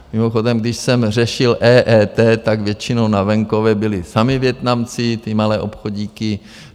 Mimochodem, když jsem řešil EET, tak většinou na venkově byli samí Vietnamci, ty malé obchodíky.